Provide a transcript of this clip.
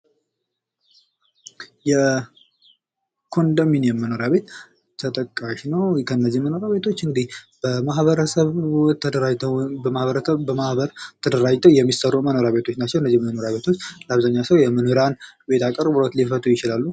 የኮንዶሚኒየም መኖሪያ ቤት ተጠቃሽ ነው፤ ከነዚህም መኖሪያ ቤቶች እንዴ በማህበረሰብ ተደራጅተው በማህበር ተደራጅተው የሚሰሩት ቤቶች ናቸው። እነዚህ መኖሪያ ቤቶች ለአብዛኛው ሰው መኖሪያ ቤት አቀርቦት ችግርን ሊፈቱ ይችላሉ።